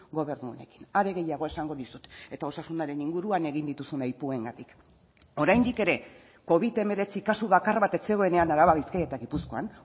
gobernu honekin are gehiago esango dizut eta osasunaren inguruan egin dituzun aipuengatik oraindik ere covid hemeretzi kasu bakar bat ez zegoenean araba bizkaia eta gipuzkoan